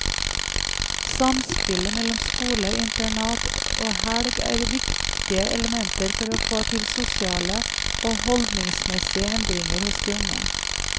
Samspillet mellom skole, internat og helg er viktige elementer for å få til sosiale og holdningsmessige endringer hos de unge.